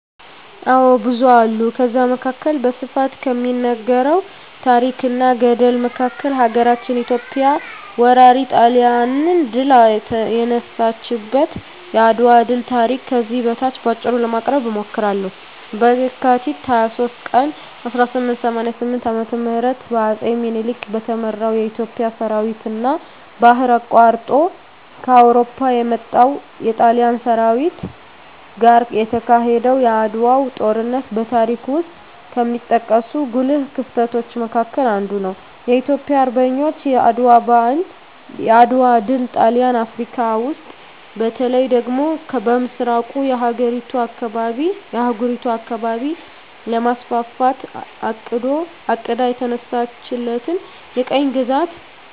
አዎ ብዙ አሉ ከዛ መካከል በስፋት ከሚነገረው ታረክ እና ገድል መካከል ሀገራችን ኢትዮጵያ ወራሪ ጣሊያንን ድል የነሳችበት የአድዋ ድል ታሪክ ከዚህ በታች በአጭሩ ለማቅረብ እሞክራለሁ፦ በካቲት 23 ቀን 1888 ዓ.ም በአጼ ምኒልክ በተመራው የኢትዮጵያ ሠራዊትና ባህር አቋርጦ ከአውሮፓ ከመጣው የጣሊያን ሠራዊት ጋር የተካሄደው የዓድዋው ጦርነት በታሪክ ውስጥ ከሚጠቀሱ ጉልህ ክስተቶች መካከል አንዱ ነው። የኢትዮጵያ አርበኞች የዓድዋ ድል ጣሊያን አፍረካ ውስጥ በተለይ ደግሞ በምሥራቁ የአህጉሪቱ አካባቢ ለማስፋፋት አቅዳ የተነሳችለትን የቅኝ ግዛት